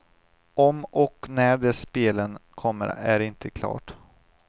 Om och när de spelen kommer är inte klart.